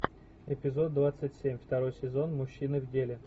эпизод двадцать семь второй сезон мужчины в деле